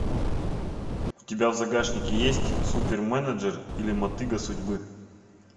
у тебя в загашнике есть суперменеджер или мотыга судьбы